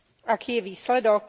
Aký je výsledok?